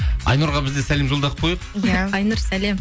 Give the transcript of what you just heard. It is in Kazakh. айнұрға біз де сәлем жолдап қояйық иә айнұр сәлем